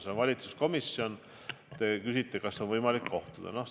See on valitsuskomisjon ja te küsisite, kas on võimalik nendega kohtuda.